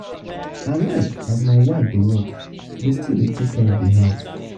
i like as my um wife dey work dey still take care of di house.